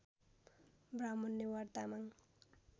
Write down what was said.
Brahmin Newar Tamang